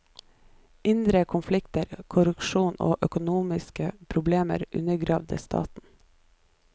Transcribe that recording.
Indre konflikter, korrupsjon og økonomiske probler undergravde staten.